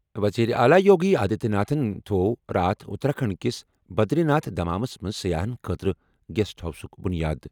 وزیر اعلیٰ یوگی آدتیہ ناتھن تھوٚو راتھ اتراکھنڈ کِس بدری ناتھ دھامس منٛز سیاحن خٲطرٕ گیسٹ ہاؤسُک بُنیاد۔